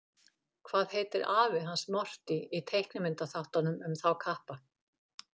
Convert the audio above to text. Hvað heitir afi hans Morty í teiknimyndaþáttunum um þá kappa?